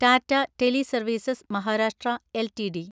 Tata teleservices (Maharashtra) LTD